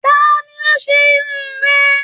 Tani o ṣe Irun rẹ?